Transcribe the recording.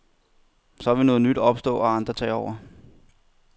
Så vil noget nyt opstå og andre tage over.